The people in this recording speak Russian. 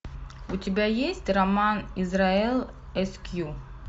у тебя есть роман израэл эскью